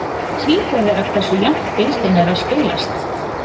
Það hlýtur að vera hversu jafnt deildin er að spilast.